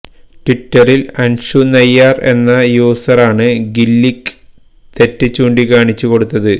ട്വിറ്ററില് അന്ഷു നയ്യാര് എന്ന യൂസറാണ് ഗില്ലിക്ക് തെറ്റ് ചൂണ്ടിക്കാണിച്ച് കൊടുത്തത്